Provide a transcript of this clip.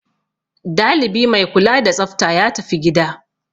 Dalibi mai kula da tsafta ya tafi gida.